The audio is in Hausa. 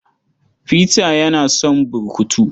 Peter yana son burkutu.